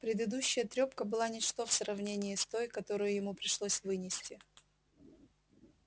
предыдущая трёпка была ничто в сравнении с той которую ему пришлось вынести